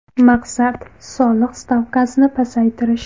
Maqsad – soliq stavkasini pasaytirish.